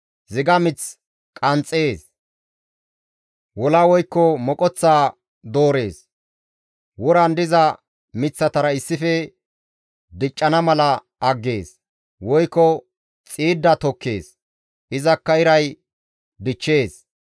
Ziga mith qanxxees; wola woykko moqoththa doorees; woran diza miththatara issife diccana mala aggees; woykko xiidda tokkees; izakka iray dichchees.